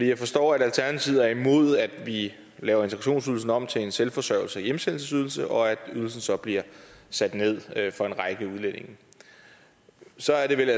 kan forstå at alternativet er imod at vi laver integrationsydelsen om til en selvforsørgelses og hjemsendelsesydelse og at ydelsen så bliver sat ned for en række udlændinge så er det vel